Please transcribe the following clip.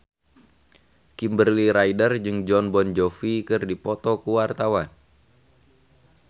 Kimberly Ryder jeung Jon Bon Jovi keur dipoto ku wartawan